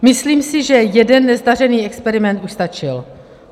Myslím si, že jeden nezdařený experiment už stačil.